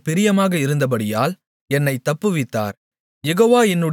என்மேல் அவர் பிரியமாக இருந்தபடியால் என்னைத் தப்புவித்தார்